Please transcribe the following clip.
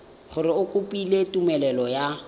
gore o kopile tumelelo ya